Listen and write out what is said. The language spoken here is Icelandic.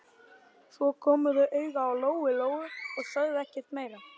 Svo komu þau auga á Lóu-Lóu og sögðu ekkert meira.